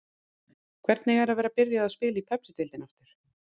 Hvernig er að vera byrjuð að spila í Pepsideildinni aftur?